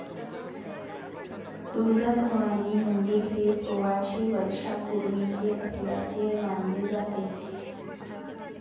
तुळजाभवानी मंदिर हे सोळाशे वर्षापूर्वीचे असल्याचे मानले जाते.